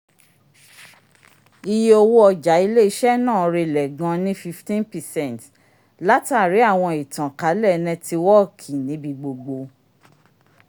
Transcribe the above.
iye owo ọja ile-iṣẹ naa rélẹ gán ni fifteen percent latari awọn itan ká lẹ nẹtiwọọki n'ibigbogbo